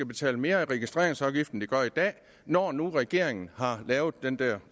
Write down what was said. betale mere i registreringsafgift end de gør i dag når nu regeringen har lavet den der